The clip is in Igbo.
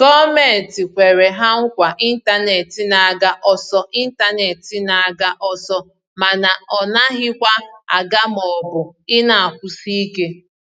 gọọmenti kwere ha nkwa intanetị n'aga ọsọ intanetị n'aga ọsọ mana ọ naghịkwa aga maọbụ i na-akwụsị ike